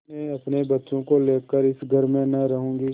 मैं अपने बच्चों को लेकर इस घर में न रहूँगी